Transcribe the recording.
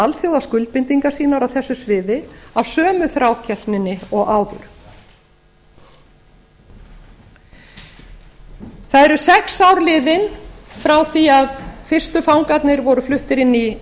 alþjóðaskuldbindingar sínar á þessu sviði af sömu þrákelkninni og áður það eru sex ár liðin frá því að fyrstu fangarnir voru fluttir inn í